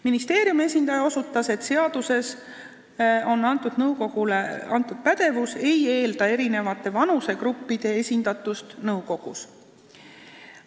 Ministeeriumi esindaja osutas, et nõukogule seadusega antud pädevus ei eelda eri vanusegruppide esindatust nõukogus.